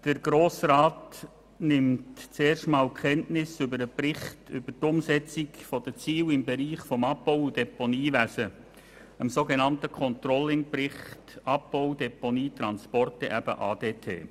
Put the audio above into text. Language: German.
Der Grosse Rat nimmt zum ersten Mal Kenntnis vom Bericht über die Umsetzung der Ziele im Bereich des Abbau- und Deponiewesens, vom sogenannten «ControllingBericht Abbau, Deponie und Transporte (ADT)».